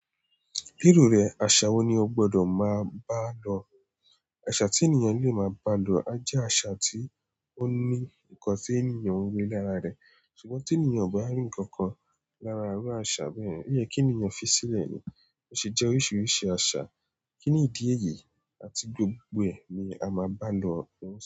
Kíru rẹ̀, aṣa wo ni o gbọ́dọ̀ máa bá lọ? Àṣà tí ènìyàn le máa bá lọ á jẹ́ àṣà tí ó ní nǹkan tí ènìyàn ń rí lára rẹ̀. Ṣùgbọ́n tí ènìyàn kò bá rí nǹkan kan lára iru aṣa bẹ́yẹ̀n, oyẹ kí ènìyàn fi sílẹ̀ ni. Ó ṣe jẹ́ oríṣiríṣi aa, kí nìdí èyí àti gbogbo ẹ ní a máa bá lọ wọ́n.